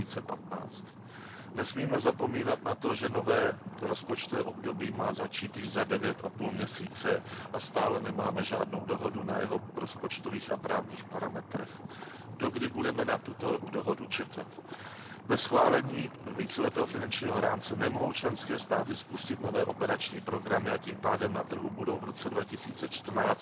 2015. Nesmíme zapomínat na to, že nové rozpočtové období má začít již za devět a půl měsíce a stále nemáme žádnou dohodu o jeho rozpočtových a právních parametrech. Dokdy budeme na tuto dohodu čekat? Bez schválení víceletého finančního rámce nemohou členské státy spustit nové operační programy a tím pádem na trhu budou v roce 2014